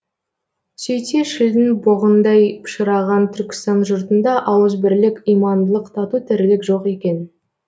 сөйтсе шілдің боғындай пышыраған түркістан жұртында ауыз бірлік имандылық тату тірлік жоқ екен